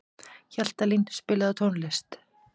Hjaltalín, spilaðu tónlist.